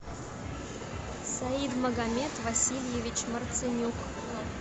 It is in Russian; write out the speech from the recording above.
саид магомед васильевич марцинюк